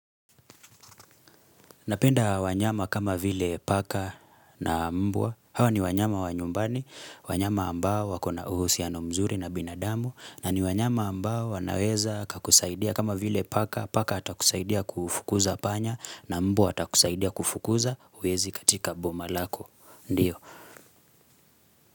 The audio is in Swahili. Napenda wanyama kama vile paka na mbwa, hawa ni wanyama wa nyumbani, wanyama ambao wakona uhusiano mzuri na binadamu, na ni wanyama ambao wanaweza kakusaidia kama vile paka, paka atakusaidia kufukuza panya na mbwa atakusaidia kufukuza wezi katika boma lako, ndio.